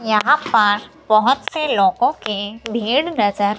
यहां पर बहुत से लोगों की भीड़ नजर--